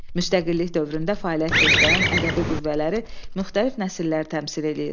Müstəqillik dövründə fəaliyyət göstərən ədəbi qüvvələri müxtəlif nəsillər təmsil edir.